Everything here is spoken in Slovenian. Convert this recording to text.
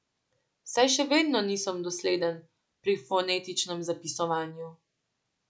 Saj še vedno nisem dosleden pri fonetičnem zapisovanju.